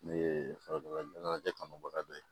Ne ye farajɛ kanubaga dɔ ye